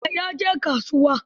jiya ya je kasuwa.